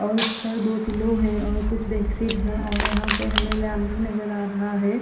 और इसमें दो पिलो है और कुछ बेड शीट है और यहाँ पे हमे लैंप भी नज़र आ रहा है।